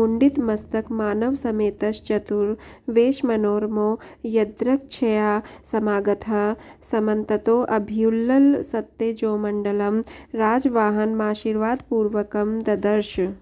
मुण्डितमस्तकमानवसमेतश्चतुरवेशमनोरमो यदृच्छया समागतः समन्ततोऽभ्युल्लसत्तेजोमण्डलं राजवाहनमाशीर्वादपूर्वकं ददर्श